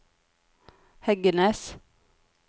Heggenes